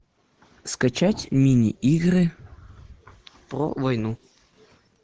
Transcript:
скачать мини игры про войну